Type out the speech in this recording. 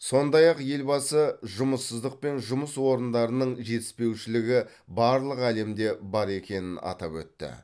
сондай ақ елбасы жұмыссыздық пен жұмыс орындарының жетіспеушілігі барлық әлемде бар екенін атап өтті